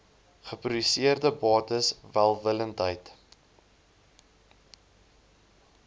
geproduseerde bates welwillendheid